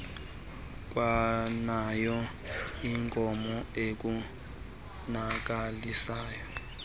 kwanayo inkomo ukubonakalisa